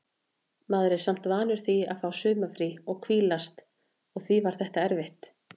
Maður er samt vanur því að fá sumarfrí og hvílast og því var þetta erfitt.